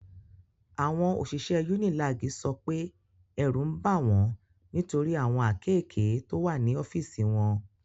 Àwọn òṣìṣẹ́ UNILAG sọ pé ẹ̀rù ń bà wọ́n nitori awon akéèké to wa ní ọ́fíìsì wọn.